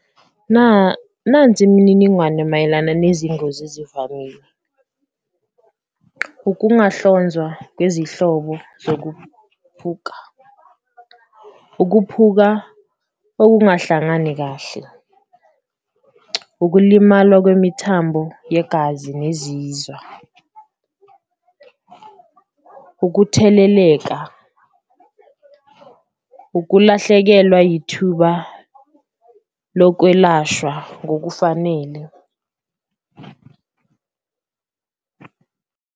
Nansi imininingwane mayelana nezingozi ezivamile ukungahlonzwa kwezihlobo zokuphuka, ukuphuka okungahlangani kahle, ukulimala kwemithambo yegazi nezizwa, ukutheleleka, ukulahlekelwa yithuba lokwelashwa ngokufanele.